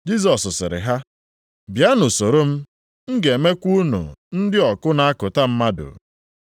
Jisọs siri ha, “Bịanụ soro m, m ga-emekwa unu ndị ọkụ na-akụta mmadụ.”